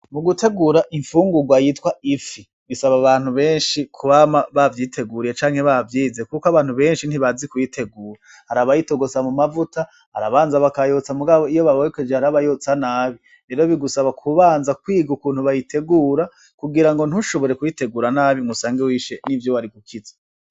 Mugutegura Imfungurwa Yitwa Ifi: Bisaba Abantu Benshi Kwama Bavyiteguriye Canke Bavyize, Kuko Abantu Benshi Ntibazi Kuyitegura. Harabayitogosa Mumavuta Harabanza Bakayotsa Mugabo Iyo Bayokoje Hariho Abayotsa Nabi, Rero Bigusaba Kubanza Kwiga Ukuntu Bayitegura Kugirango Ntushobore Kuyitegura Nabi Ngusange Wishe N'Ivyo Wari Gukiza.